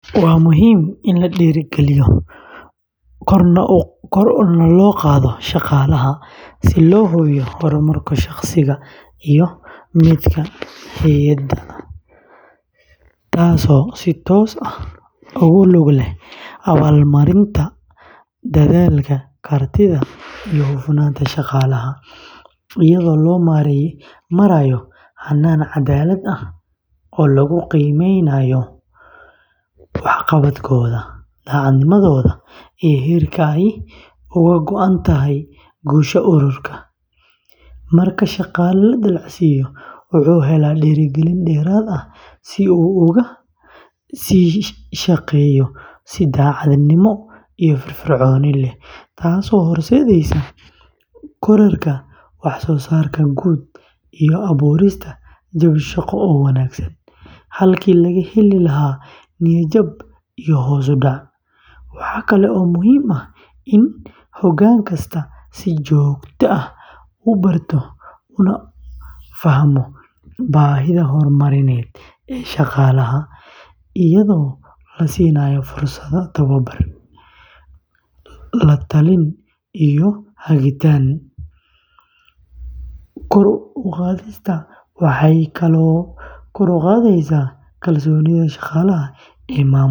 Waa muhiim in la dhiirrigeliyo kor u qaadista shaqaalaha si loo hubiyo horumarka shaqsiga iyo midka hay’adda, taasoo si toos ah ugu lug leh abaalmarinta dadaalka, kartida, iyo hufnaanta shaqaalaha, iyadoo loo marayo hannaan caddaalad ah oo lagu qiimeeyo waxqabadkooda, daacadnimadooda iyo heerka ay uga go’an tahay guusha ururka; marka shaqaale la dallacsiiyo, wuxuu helaa dhiirigelin dheeraad ah si uu uga sii shaqeeyo si daacadnimo iyo firfircooni leh, taasoo horseedaysa kororka waxsoosaarka guud iyo abuurista jawi shaqo oo wanaagsan, halkii laga heli lahaa niyad-jab iyo hoos u dhac; waxa kale oo muhiim ah in hoggaan kastaa si joogto ah u barto una fahmo baahida horumarineed ee shaqaalaha, iyadoo la siinayo fursado tababar, la-talin iyo hagitaan; kor u qaadista waxay kaloo kor u qaadaysaa kalsoonida shaqaalaha ee maamulka.